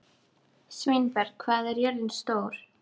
Sveinberg, hvað er jörðin stór?